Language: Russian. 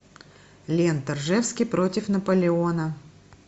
лента ржевский против наполеона